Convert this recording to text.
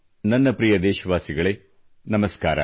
ನನ್ನ ಪ್ರಿಯ ದೇಶವಾಸಿಗಳೇ ನಮಸ್ಕಾರ